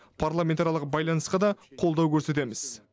парламентаралық байланысқа да қолдау көрсетеміз